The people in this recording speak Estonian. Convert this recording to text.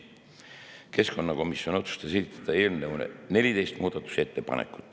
Keskkonnakomisjon otsustas esitada eelnõu kohta 14 muudatusettepanekut.